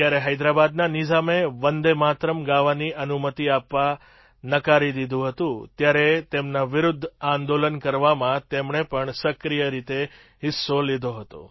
જ્યારે હૈદરાબાદના નિઝામે વન્દે માતરમ્ ગાવાની અનુમતિ આપવા નકારી દીધું હતું ત્યારે તેમના વિરુદ્ધ આંદોલન કરવામાં તેમણે પણ સક્રિય રીતે હિસ્સો લીધો હતો